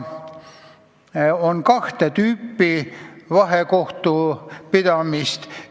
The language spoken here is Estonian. On kahte tüüpi vahekohtu pidamist.